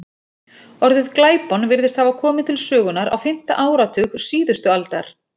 Orðið glæpon virðist hafa komið til sögunnar á fimmta áratug síðustu aldar.